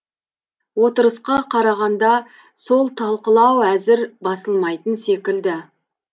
отырысқа қарағанда сол талқылау әзір басылмайтын секілді